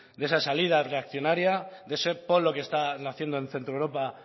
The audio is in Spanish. de esa salida reaccionaria de ese polo que está naciendo en centroeuropa